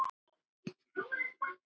Það var ekkert annað.